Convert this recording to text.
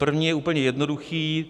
První je úplně jednoduchý.